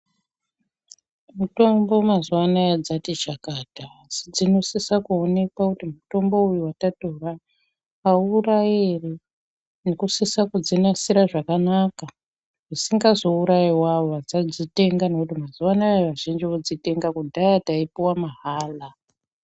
Mutombo mazuwa anaya dzati chakata asi dzinosisa kuonekwa kuti mutombo uyu watatora aurayi ere nekusisisa kudzi asira zvakanaka zvisingazourayiwo awo vatsadzitenga ngekuti mazuwa anaa vazhinji vodzitenga ngekuti kudhaya taipuwa mahala.